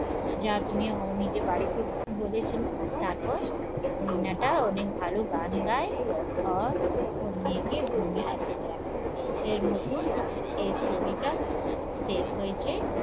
যা তুমি ও নিজে বাড়িতে বলেছিলাম তারপর রিনা টা অনেক ভালো গান গায় আহ ওর মেয়েকে ঘুমিয়ে এসে যায় এর মতন এর story টা শেষ হয়েছে